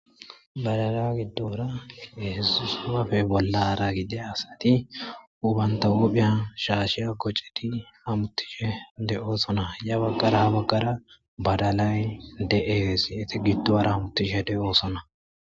badala giddora yehesusapafe bollara gide asati ubanta huphiyan shaasheya gocedi hamuttishe de7oosona ya baggara baggara badalay de7es yeti giddohara hamutishe de7oosona